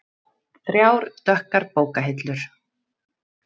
Þrjár dökkar bókahillur.